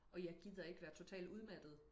Og jeg gider ikke være totalt udmattet